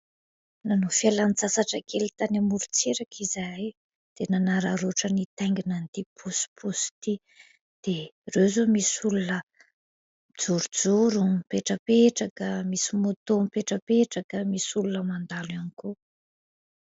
Nanao fialantsasatra kely tany amorontsiraka izahay, dia nanararotra nitaingina ity "pousse pouse" ity. Dia ireo zao misy olona mijorojoro, mipetrapetraka, misy moto mipetrapetraka misy olona mandalo ihany koa.